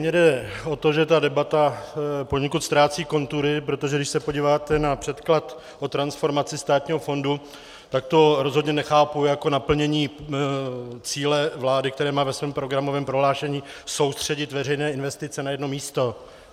Mně jde o to, že ta debata poněkud ztrácí kontury, protože když se podíváte na předklad o transformaci státního fondu, tak to rozhodně nechápu jako naplnění cíle vlády, která má ve svém programovém prohlášení soustředit veřejné investice na jedno místo.